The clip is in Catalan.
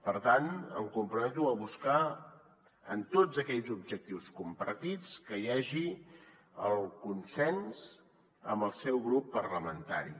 per tant em comprometo a buscar en tots aquells objectius compartits que hi hagi el consens amb el seu grup parlamentari